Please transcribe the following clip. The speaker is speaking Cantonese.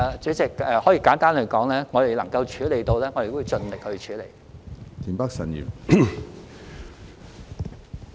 主席，簡單來說，如果我們能夠處理，我們都會盡力處理。